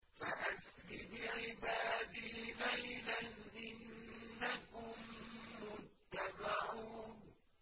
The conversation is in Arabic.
فَأَسْرِ بِعِبَادِي لَيْلًا إِنَّكُم مُّتَّبَعُونَ